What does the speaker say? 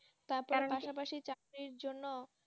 চাকরির জন্য